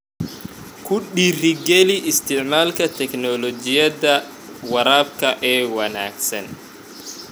Ku dhiiri geli isticmaalka tignoolajiyada waraabka ee wanaagsan.